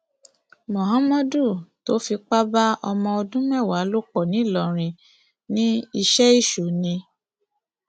muhammadu tó fipá bá ọmọ ọdún mẹwàá lò pọ ńìlọrin ní iṣẹ èṣù ni